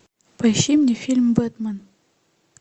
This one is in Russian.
поищи мне фильм бэтмен